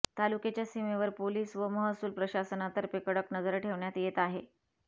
तालुक्याच्या सीमेवर पोलिस व महसूलप्रसाशनातर्फे कडक नजर ठेवण्यात येत आहे